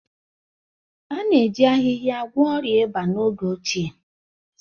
A na-eji ahịhịa gwọọ ọrịa ịba n'oge ochie